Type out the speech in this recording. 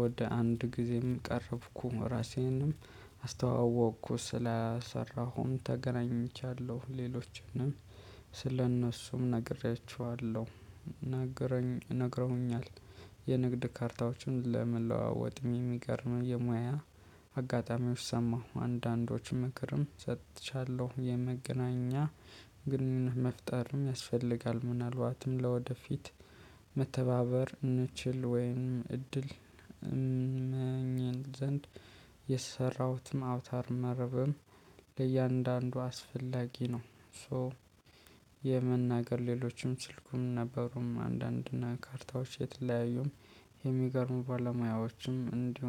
ወደ አንድ ጊዜም ቀረብኩ ራሴንም አስተዋወቅኩ ስላሰራሁም ተገናኝቻለሁ ሌሎችንም ስለእነሱም ነግሬያችኋለሁ። ነግረውኛል። የንግድ ካርታዎችን ለመለዋወጥ የሚገርመው የሙያ አጋጣሚዎች ሰማሁ አንዳንዶችም ምክርም ሰጥቻለሁ። የመገናኛ ግንኙነት መፍጠርም ያስፈልጋል። ምናልባትም ለወደፊት መተባበር እንችል ወይም እድል። ዘንድ የሰራሁትም አውታር መረብም ለእያንዳንዱ አስፈላጊ ነው። ሶ የመናገር ሌሎችም ስልኩም ነበሩም አንዳንድ እና ካርታዎች የተለያዩም የሚገርሙ ባለሙያዎችም እንዲሆን